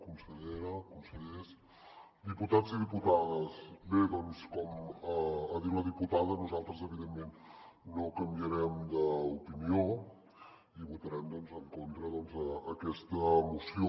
consellera consellers diputats i diputades bé doncs com ha dit la diputada nosaltres evidentment no canviarem d’opinió i votarem en contra d’aquesta moció